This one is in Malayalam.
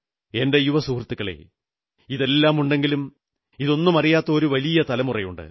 എന്റെ യുവസുഹൃത്തുക്കളേ ഇതെല്ലാമുണ്ടെങ്കിലും ഇതൊന്നുമറിയാത്ത ഒരു വലിയ തലമുറയുണ്ട്